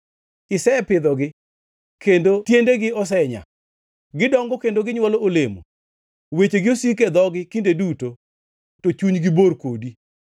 Isepidhogi, kendo tiendegi osenyaa; gidongo kendo ginywolo olemo. Wechegi osiko e dhogi kinde duto to chunygi bor kodi.